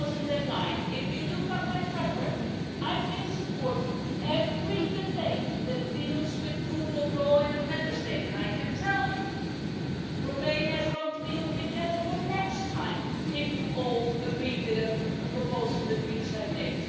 2009. If you look at my track record I have been supporting every debate that deals with rule of law in a Member State, and I can tell you that Romania is going to be on the agenda next time if you all agree with a proposal that the Greens have made.